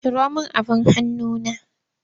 Ciro min abin hanuna!